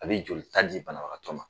A bi joli ta di banabagatɔ ma